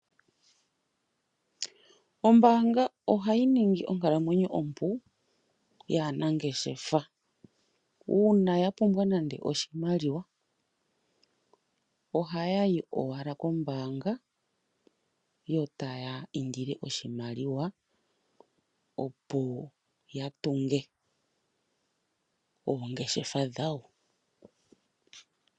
Ombaanga oha yi ningi onkalamwenyo yaanangeshefa ompu. Uuna ya pumbwa oshimaliwa oha ya ka indilia oshimaliwa kombaanga, opo ya tunge oongeshefa dhawo.